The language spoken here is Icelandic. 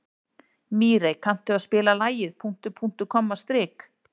Mírey, kanntu að spila lagið „Punktur, punktur, komma, strik“?